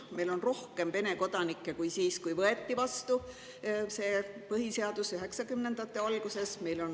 Meil on rohkem Vene kodanikke kui siis, kui see põhiseadus 90-ndate alguses vastu võeti.